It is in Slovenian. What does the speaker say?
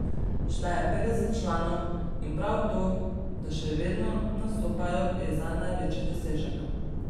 Šteje petdeset članov in prav to, da še vedno nastopajo, je zanj največji dosežek.